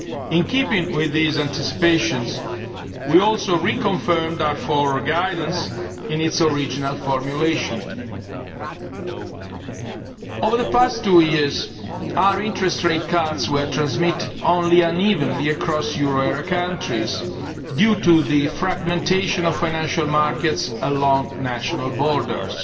In keeping with these anticipations, we also reconfirmed our forward guidance in its original formulation. Over the past two years our interest rate cuts were transmitted only unevenly across euro area countries, due to the fragmentation of financial markets along national borders.